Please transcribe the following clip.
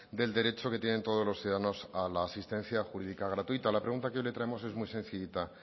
del derecho que tienen todos los ciudadanos a la asistencia jurídica gratuita la pregunta que hoy le traemos es muy sencillita